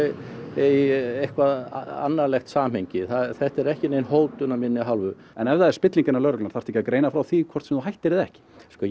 eitthvert annarlegt samhengi þetta er ekki nein hótun af minni hálfu en ef það er spilling innan lögreglunnar þarftu ekki að greina frá því hvort sem þú hættir eða ekki